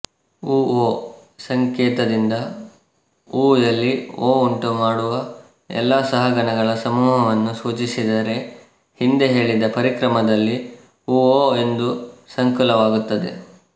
ಉಓ ಸಂಕೇತದಿಂದ ಉಯಲ್ಲಿ ಓ ಉಂಟುಮಾಡುವ ಎಲ್ಲ ಸಹಗಣಗಳ ಸಮೂಹವನ್ನೂ ಸೂಚಿಸಿದರೆ ಹಿಂದೆ ಹೇಳಿದ ಪರಿಕರ್ಮದಲ್ಲಿ ಉಓ ಒಂದು ಸಂಕುಲವಾಗುತ್ತದೆ